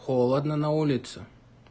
холодно на улице